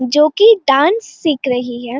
जो की डांस सीख रही है।